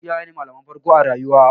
Iyaye ne malaman farko a rayuwa.